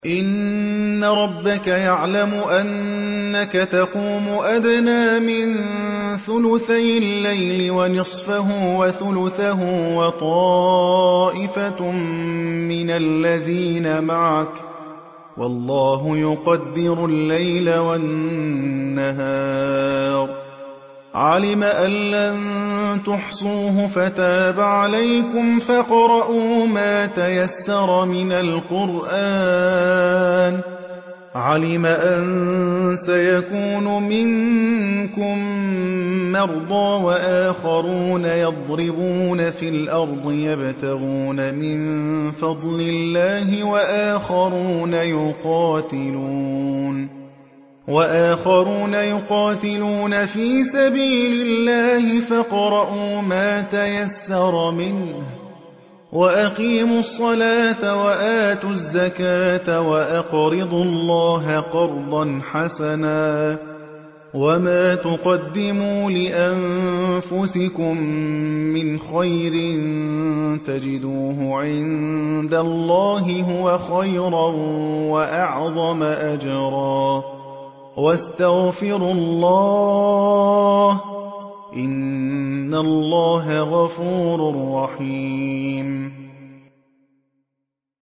۞ إِنَّ رَبَّكَ يَعْلَمُ أَنَّكَ تَقُومُ أَدْنَىٰ مِن ثُلُثَيِ اللَّيْلِ وَنِصْفَهُ وَثُلُثَهُ وَطَائِفَةٌ مِّنَ الَّذِينَ مَعَكَ ۚ وَاللَّهُ يُقَدِّرُ اللَّيْلَ وَالنَّهَارَ ۚ عَلِمَ أَن لَّن تُحْصُوهُ فَتَابَ عَلَيْكُمْ ۖ فَاقْرَءُوا مَا تَيَسَّرَ مِنَ الْقُرْآنِ ۚ عَلِمَ أَن سَيَكُونُ مِنكُم مَّرْضَىٰ ۙ وَآخَرُونَ يَضْرِبُونَ فِي الْأَرْضِ يَبْتَغُونَ مِن فَضْلِ اللَّهِ ۙ وَآخَرُونَ يُقَاتِلُونَ فِي سَبِيلِ اللَّهِ ۖ فَاقْرَءُوا مَا تَيَسَّرَ مِنْهُ ۚ وَأَقِيمُوا الصَّلَاةَ وَآتُوا الزَّكَاةَ وَأَقْرِضُوا اللَّهَ قَرْضًا حَسَنًا ۚ وَمَا تُقَدِّمُوا لِأَنفُسِكُم مِّنْ خَيْرٍ تَجِدُوهُ عِندَ اللَّهِ هُوَ خَيْرًا وَأَعْظَمَ أَجْرًا ۚ وَاسْتَغْفِرُوا اللَّهَ ۖ إِنَّ اللَّهَ غَفُورٌ رَّحِيمٌ